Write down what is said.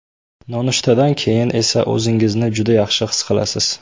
Nonushtadan keyin esa o‘zingizni juda yaxshi his qilasiz.